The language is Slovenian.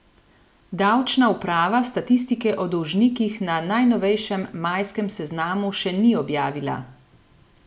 Davčna uprava statistike o dolžnikih na najnovejšem, majskem seznamu še ni objavila.